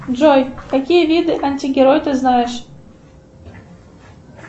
джой какие виды антигерой ты знаешь